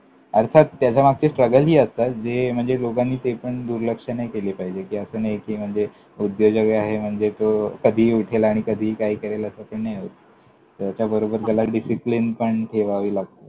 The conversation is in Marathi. अर्थात त्याच्यामागचे struggle ही असतात, जे म्हणजे लोकांनी ते पण दुर्लक्ष नाही केले पाहिजे, कि असं नाही म्हणजे कि उद्योजक आहे म्हणजे तो कधीही उठेल आणि कधीही काही करेल, असं तर नाही होत. त्याच्याबरोबर त्याला discipline पण ठेवावी लागते.